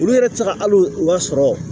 Olu yɛrɛ tɛ se ka hali u ka sɔrɔ